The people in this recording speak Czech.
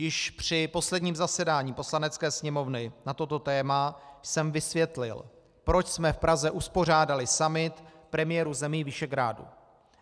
Již při posledním zasedání Poslanecké sněmovny na toto téma jsem vysvětlil, proč jsme v Praze uspořádali summit premiérů zemí Visegrádu.